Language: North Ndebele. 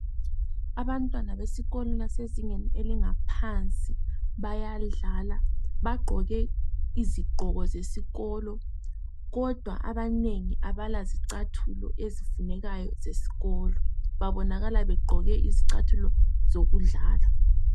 Abantwana besikolo basezingeni elingaphansi bayadlala. Bagqoke izigqoko zesikolo kodwa abanengi abala zicathulo ezifunekayo zesikolo. Babonakala begqoke izicathulo zokudlala.